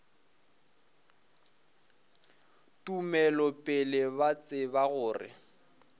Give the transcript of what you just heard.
tumelo pele ba tseba gore